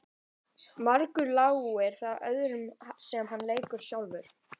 Margur láir það öðrum sem hann leikur sjálfur.